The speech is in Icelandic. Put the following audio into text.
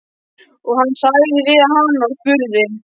Og hann sagði við hana og spurði